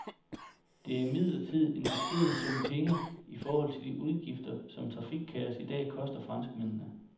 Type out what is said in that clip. Det er imidlertid en beskeden sum penge i forhold til de udgifter, som trafikkaos i dag koster franskmændene.